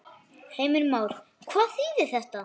Heimir Már: Hvað þýðir þetta?